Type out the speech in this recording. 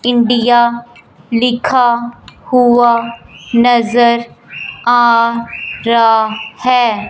India लिखा हुआ नजर आ रहा है।